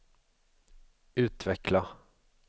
utveckla